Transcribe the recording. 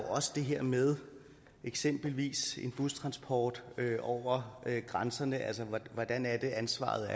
også det her med eksempelvis en bustransport over grænserne hvordan er ansvaret